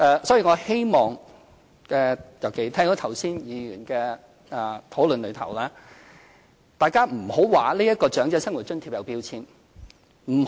所以，我希望——尤其是聽到剛才議員的討論——大家不要說這個長者生活津貼有標籤。